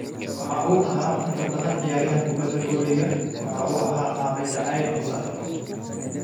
Waxa uu ahaa in ka badan ciyaaryahan kubbadda koleyga, waxa uu ahaa aabe jacayl iyo saaxiibbo.